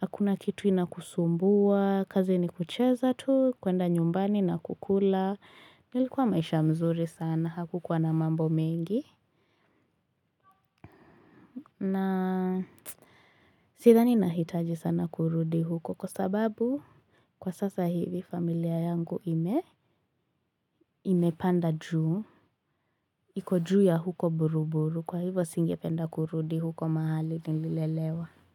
hakuna kitu inakusumbua kazi ni kucheza tu, kwenda nyumbani na kukula Nilikuwa maisha mzuri sana, hakukuwa na mambo mengi na sidhani nahitaji sana kurudi huko Kwa sababu kwa sasa hivi familia yangu ime Imepanda juu iko juu ya huko buruburu kwa hivo singependa kurudi huko mahali nililelewa.